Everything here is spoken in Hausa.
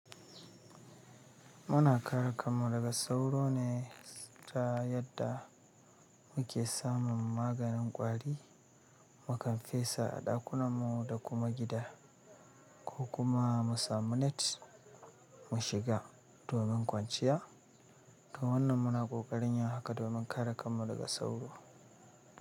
Muna kare kanmu daga sauro ne ta yadda muke samun maganin kwari, mukan fesa a ɗakunanmu da kuma gida ko kuma mu samu net mu shiga domin kwanciya. Da wannan muna kokarin ya haka domin kare kanmu daga sauro.